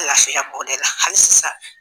Lafiya b'o de la hali sisa.